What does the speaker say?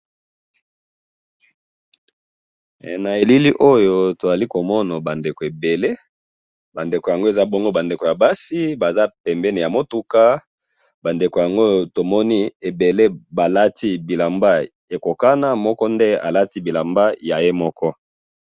he na elili yo tozali komona ba ndeko ebenle ba ndeko oyo tozali komona bazali ba ndeko ya basi tomoni balati elamba ekokana mokonde alati elamba ya yeye moko.